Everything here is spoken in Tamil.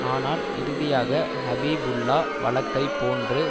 ஆனால் இறுதியாக ஹபீபுல்லா வழக்கை போன்று